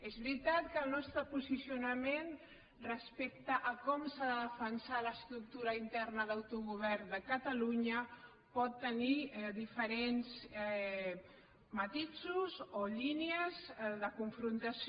és veritat que el nostre posicionament respecte a com s’ha de defensar l’estructura interna d’autogovern de catalunya pot tenir diferents matisos o línies de confrontació